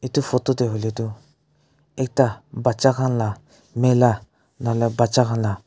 etu photo te hoile tu ekta batcha khan laga mela batchaa khan laga.